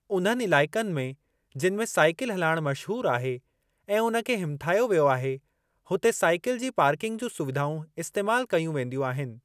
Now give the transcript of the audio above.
उन्हनि इलाइक़नि में जिनि में साईकिल हुलाइणु मशहूरु आहे ऐं उन खे हिमथायो वियो आहे, हुते साईकिल जी पार्किंग जूं सुविधाऊं इस्तेमाल कयूं वेंदियूं आहिनि।